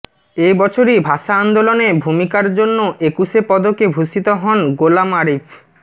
এ বছরই ভাষা আন্দোলনে ভূমিকার জন্য একুশে পদকে ভূষিত হন গোলাম আরিফ